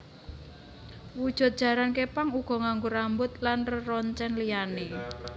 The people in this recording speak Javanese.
Wujud jaran képang uga nganggo rambut lan reroncèn liyané